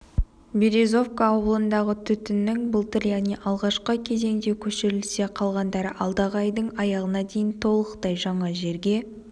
березовка ауылындағы түтіннің былтыр яғни алғашқы кезеңде көшірілсе қалғандары алдағы айдың аяғына дейін толықтай жаңа жерге